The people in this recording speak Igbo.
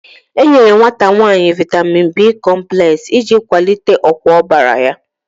E nyere nwata nwanyị Vaitamin B kompulex, e ji kwalite ọkwa ọbara ya